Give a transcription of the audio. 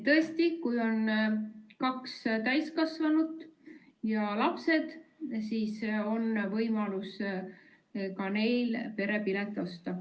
Tõesti, kui on kaks täiskasvanut ja lapsed, siis on võimalus ka neil perepilet osta.